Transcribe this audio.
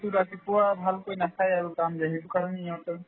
ৰাতিপুৱা ভালকৈ নাখাই আৰু সেইটো কাৰণে ইহঁতৰ